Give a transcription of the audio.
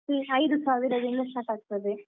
Fancy ಐದು ಸಾವಿರದಿಂದ start ಆಗ್ತದೆ.